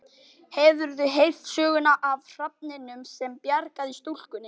Hefurðu heyrt söguna af hrafninum sem bjargaði stúlkunni?